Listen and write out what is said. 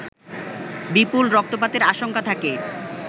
বিপুল রক্তপাতের আশঙ্কা থাকে